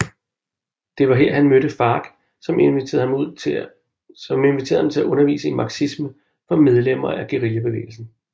Det var her han mødte FARC som inviterede ham til at undervise i marxisme for medlemmer af guerillabevægelsen